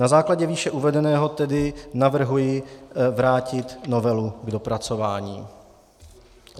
Na základě výše uvedeného tedy navrhuji vrátit novelu k dopracování.